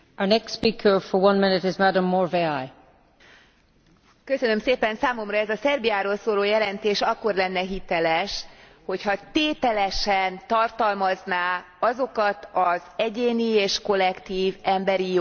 Számomra ez a Szerbiáról szóló jelentés akkor lenne hiteles, hogyha tételesen tartalmazná azokat az egyéni és kollektív emberi jogokat, amelyeket Szerbia köteles biztosítani